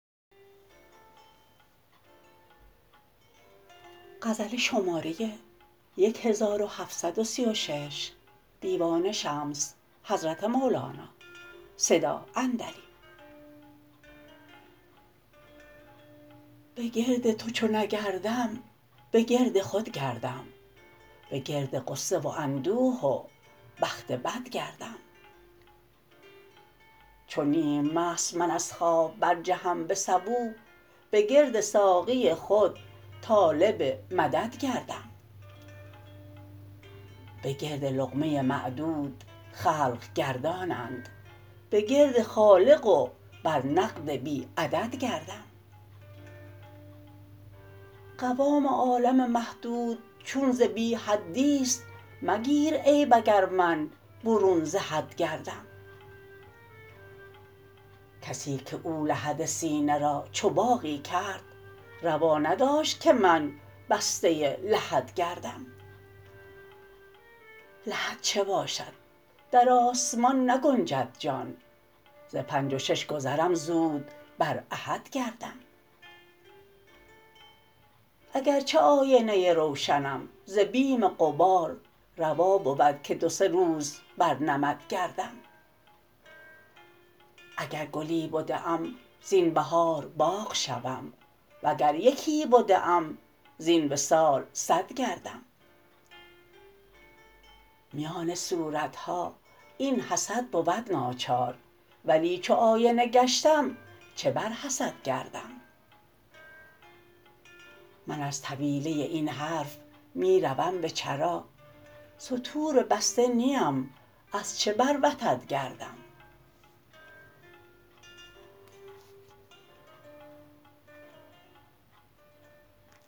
به گرد تو چو نگردم به گرد خود گردم به گرد غصه و اندوه و بخت بد گردم چو نیم مست من از خواب برجهم به صبوح به گرد ساقی خود طالب مدد گردم به گرد لقمه معدود خلق گردانند به گرد خالق و بر نقد بی عدد گردم قوام عالم محدود چون ز بی حدی است مگیر عیب اگر من برون ز حد گردم کسی که او لحد سینه را چو باغی کرد روا نداشت که من بسته لحد گردم لحد چه باشد در آسمان نگنجد جان ز پنج و شش گذرم زود بر احد گردم اگر چه آینه روشنم ز بیم غبار روا بود که دو سه روز بر نمد گردم اگر گلی بده ام زین بهار باغ شوم وگر یکی بده ام زین وصال صد گردم میان صورت ها این حسد بود ناچار ولی چو آینه گشتم چه بر حسد گردم من از طویله این حرف می روم به چرا ستور بسته نیم از چه بر وتد گردم